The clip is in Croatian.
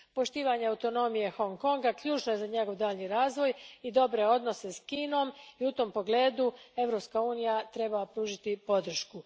Poštovanje autonomije Hong Konga ključno je za njegov daljnji razvoj i dobre odnose s Kinom i u tom pogledu Europska unija treba pružiti podršku.